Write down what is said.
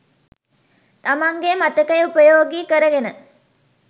තමන්ගේ මතකය උපයෝගී කරගෙන.